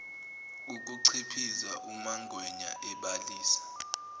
ukuchiphiza umangwenya ebalisa